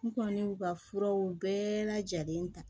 N kɔni y'u ka furaw bɛɛ lajɛlen ta